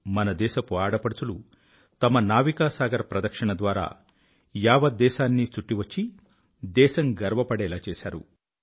మన దేశపు ఆడపడుచులు తమ నావికా సాగర్ ప్రదక్షిణ ద్వారా యావత్ దేశాన్నీ చుట్టి వచ్చి దేశం గర్వపడేలా చేశారు